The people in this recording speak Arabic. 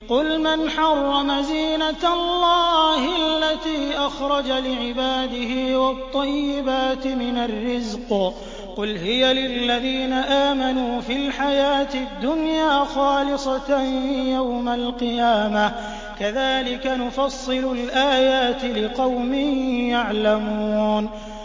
قُلْ مَنْ حَرَّمَ زِينَةَ اللَّهِ الَّتِي أَخْرَجَ لِعِبَادِهِ وَالطَّيِّبَاتِ مِنَ الرِّزْقِ ۚ قُلْ هِيَ لِلَّذِينَ آمَنُوا فِي الْحَيَاةِ الدُّنْيَا خَالِصَةً يَوْمَ الْقِيَامَةِ ۗ كَذَٰلِكَ نُفَصِّلُ الْآيَاتِ لِقَوْمٍ يَعْلَمُونَ